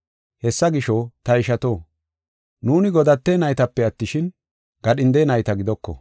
Hessa gisho, ta ishato, nuuni godate naytape attishin, gadhinde nayta gidoko.